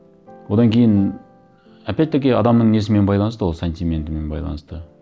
одан кейін опять таки адамның несімен байланысты ол сантиментімен байланысты